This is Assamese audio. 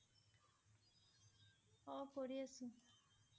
অ' কৰি আছোঁ।